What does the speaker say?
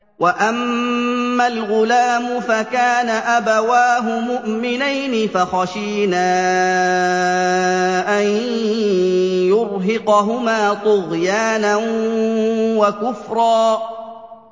وَأَمَّا الْغُلَامُ فَكَانَ أَبَوَاهُ مُؤْمِنَيْنِ فَخَشِينَا أَن يُرْهِقَهُمَا طُغْيَانًا وَكُفْرًا